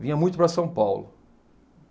Vinha muito para São Paulo.